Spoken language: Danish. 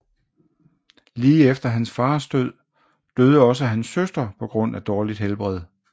Lige efter hans fars død døde også hans søster på grund af dårligt helbred